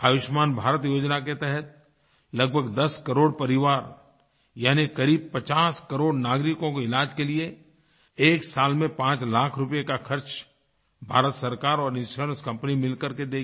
आयुष्मान भारत योजना के तहत लगभग 10 करोड़ परिवार यानीक़रीब 50 करोड़ नागरिकों को इलाज के लिए 1 साल में 5 लाख रूपए का ख़र्च भारत सरकार और इंश्योरेंस कंपनी मिलकर के देंगी